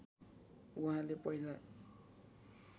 उहाँले पहिला